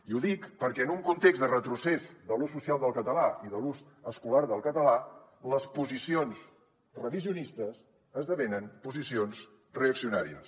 i ho dic perquè en un context de retrocés de l’ús social del català i de l’ús escolar del català les posicions revisionistes esdevenen posicions reaccionàries